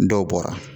Dɔw bɔra